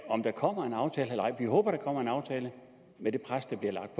om der kommer en aftale eller ej vi håber der kommer en aftale med det pres der bliver lagt